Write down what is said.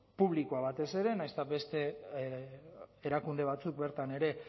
publikoa batez ere nahiz eta beste erakunde batzuk bertan ere